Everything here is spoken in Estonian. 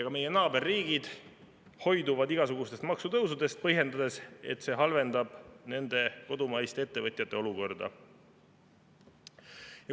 Ka meie naaberriigid hoiduvad igasugustest maksutõusudest, põhjendades sellega, et see halvendab nende kodumaiste ettevõtjate olukorda.